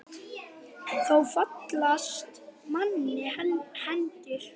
Þá fallast manni hendur.